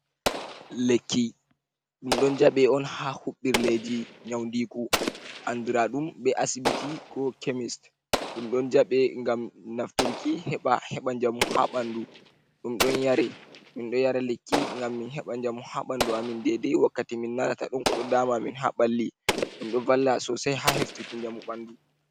Lekki dum don jabe on ha hubirleji nyaundiku anduraɗum be asibiti ko kemist. dum don jabe gam nafturki heɓa heɓa jamu ha bandu dum don yare min do yara lekki gam min heɓa jamu ha bandu amin dede wakkati min nanata don ko do dama min ha ball,i ɗum ɗo valla sosai ha heftuki jamu bandu.